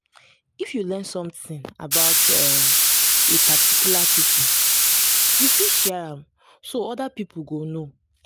if you learn something about a a particular pipo you fit share am so oda pipo go know